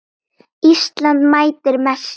Kærast par í þingum ljómar.